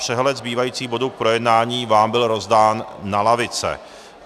Přehled zbývajících bodů k projednání vám byl rozdán na lavice.